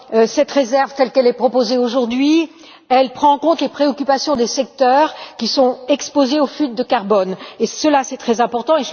Cette réserve, telle qu'elle est proposée aujourd'hui, prend en compte les préoccupations des secteurs qui sont exposés aux fuites de CO2. C'est très important.